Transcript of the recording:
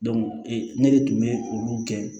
ee ne de tun bɛ olu kɛ